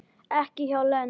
Ekki hjá Lenu